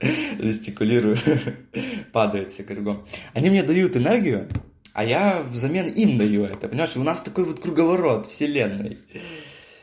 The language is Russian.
жестикулирую падают все кругом они мне дают энергию а я взамен им даю это у нас такой вот круговорот вселенной